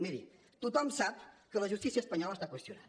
miri tothom sap que la justícia espanyola està qüestionada